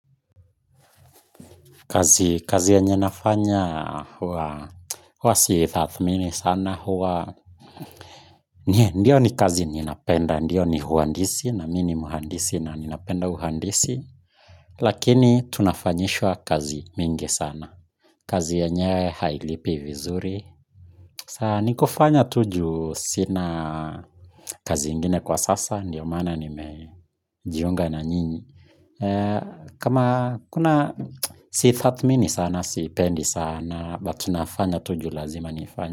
Kazi yenye nafanya huwa si tathmini sana huwa ndiyo ni kazi ninayopenda, ndiyo ni uhandisi na mini ni mhandisi na ninapenda uhandisi lakini tunafanyishwa kazi mingi sana kazi yenyewe hailipi vizuri ni kufanya tu juu sina kazi ingine kwa sasa ndio maana nimejiunga na nyinyi kama, kuna siitathmini sana siipendi sana but nafanya tu juu lazima niifanye.